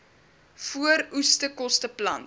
vooroeskoste plant